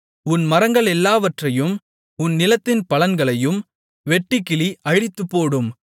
உன் மரங்களெல்லாவற்றையும் உன் நிலத்தின் பலன்களையும் வெட்டுக்கிளி அழித்துப்போடும்